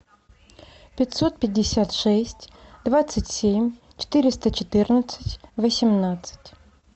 пятьсот пятьдесят шесть двадцать семь четыреста четырнадцать восемнадцать